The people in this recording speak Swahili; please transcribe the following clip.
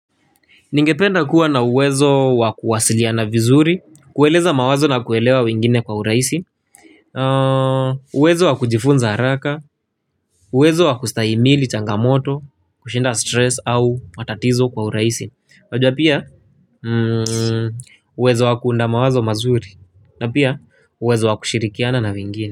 Ningependa kuwa na uwezo wa kuwasiliana vizuri, kueleza mawazo na kuelewa wengine kwa urahisi, uwezo wa kujifunza haraka, uwezo wa kustahimili changamoto, kushinda stress au matatizo kwa urahisi. Wajua pia, uwezo wa kuunda mawazo mazuri na pia uwezo wa kushirikiana na wengine.